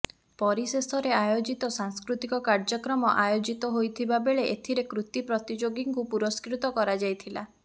ପରିଶେଷରେ ଆୟୋଜିତ ସାଂସ୍କୃତିକ କାର୍ୟ୍ୟକ୍ରମ ଆୟୋଜିତ ହୋଇଥିବା ବେଳେ ଏଥିରେ କୃତି ପ୍ରତିଯୋଗିଙ୍କୁ ପୁରଷ୍କୃତ କରାଯଇ ଥିଲା